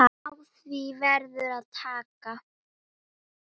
Á því verður að taka.